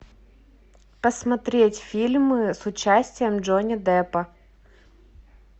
посмотреть фильмы с участием джонни деппа